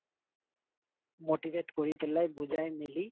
motivate কৰি পেলাই বুজাই মিলি